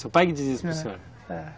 Seu pai que dizia isso para o senhor? É.